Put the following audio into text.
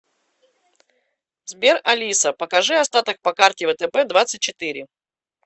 сбер алиса покажи остаток по карте втб двадцать четыре